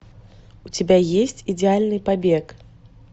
у тебя есть идеальный побег